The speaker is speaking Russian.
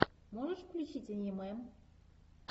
можешь включить аниме